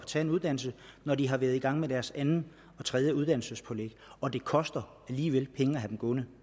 tage en uddannelse når de har været i gang med deres andet og tredje uddannelsespålæg og det koster alligevel penge at have dem gående